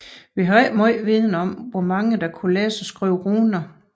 Vi har ikke megen viden om hvor mange der kunne læse og skrive runer